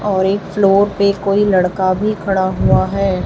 और एक फ्लोर पे कोई लड़का भी खड़ा हुआ है।